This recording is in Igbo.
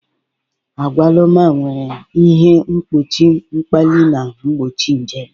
Agwaluma nwere ihe mgbochi mkpali na mgbochi nje.